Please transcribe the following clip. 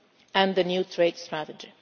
Strategy and the new Trade Strategy.